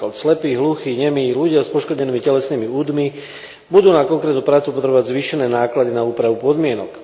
Napríklad slepí, hluchí, nemí, ľudia s poškodenými telesnými údmi budú na konkrétnu prácu potrebovať zvýšené náklady na úpravu podmienok.